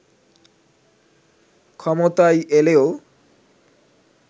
ক্ষমতায় এলেও